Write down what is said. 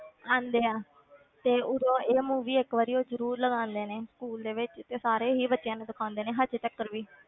ਆਉਂਦੇ ਆ ਤੇ ਉਦੋਂ ਇਹ movie ਇੱਕ ਵਾਰੀ ਉਹ ਜ਼ਰੂਰ ਲਗਾਉਂਦੇ ਨੇ school ਦੇ ਵਿੱਚ ਸਾਰੇ ਹੀ ਬੱਚਿਆਂ ਨੂੰ ਦਿਖਾਉਂਦੇ ਨੇ ਹਜੇ ਤੀਕਰ ਵੀ,